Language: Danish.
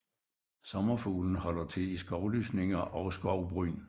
Sommerfuglen holder til i skovlysninger og skovbryn